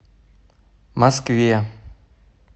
москве